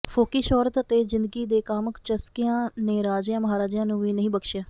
ਫੋਕੀ ਸ਼ੌਹਰਤ ਅਤੇ ਜਿੰਦਗੀ ਦੇ ਕਾਮੁਕ ਚਸਕਿਆਂ ਨੇ ਰਾਜਿਆਂ ਮਹਾਰਾਜਿਆਂ ਨੂੰ ਵੀ ਨਹੀਂ ਬਖਸ਼ਿਆ